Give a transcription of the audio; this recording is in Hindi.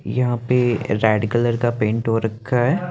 यहाँ पे रेड कलर का पेंट हो रखे है।